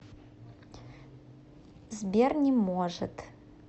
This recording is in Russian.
сбер не может